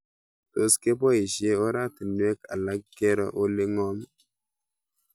Tos kepoishe oratinwek alak kero ole ng'om